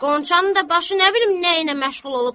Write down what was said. Qonçanın da başı nə bilim nə ilə məşğul olub.